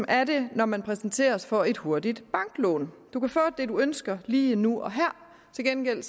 er det når man præsenteres for et hurtigt banklån du kan få det du ønsker lige nu og her til gengæld